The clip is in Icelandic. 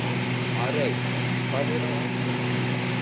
Arey, hvað er á áætluninni minni í dag?